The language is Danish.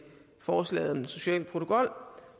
forslaget om en social protokol